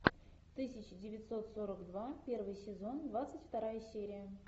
тысяча девятьсот сорок два первый сезон двадцать вторая серия